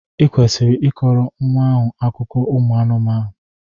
Ị kwesịrị ị kọrọ nwa ahụ akụkọ ụmụ anụmanụ!